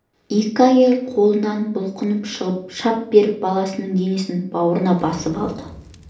екі әйелдің қолынан бұлқынып шығып шап беріп баласының денесін бауырына қысып алды